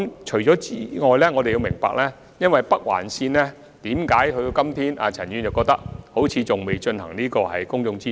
除此之外，我們也要明白就北環線的規劃，為何至今仍好像陳議員所說未進行公眾諮詢。